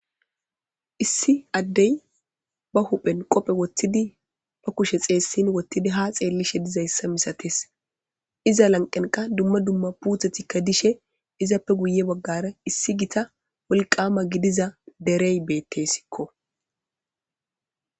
Issi addey ba huphen qophe wottidi ba kushe xeessin wottidi ha xeellishe dizayssa misates iza lanqenka dumma dumma puuthetikka dishe izappe guye baggara issi gita wolqqama gidiza derey beettessikko.